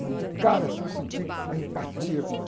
Mas de cara eu senti a empatia com ela.